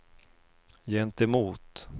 gentemot